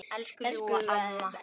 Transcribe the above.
Elsku ljúfa amma mín.